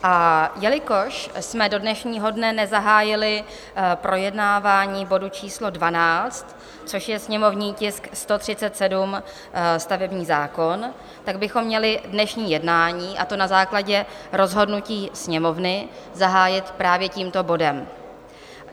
A jelikož jsme do dnešního dne nezahájili projednávání bodu číslo 12, což je sněmovní tisk 137 - stavební zákon, tak bychom měli dnešní jednání, a to na základě rozhodnutí Sněmovny, zahájit právě tímto bodem.